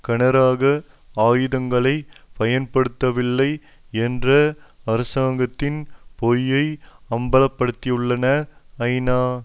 கனரக ஆயுதங்களை பயன்படுத்தவில்லை என்ற அரசாங்கத்தின் பொய்யை அம்பல படுத்தியுள்ளன ஐநா